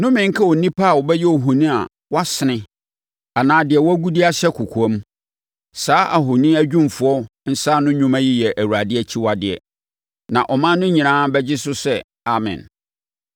“Nnome nka onipa a ɔbɛyɛ ohoni a wɔasene anaa deɛ wɔagu de ahyɛ kɔkoam. Saa ahoni adwumfoɔ nsaano nnwuma yi yɛ Awurade akyiwadeɛ.” Na ɔman no nyinaa bɛgye so sɛ, “Amen!”